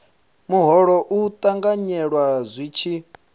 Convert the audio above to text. muholo u ṱanganyelwa zwi tshi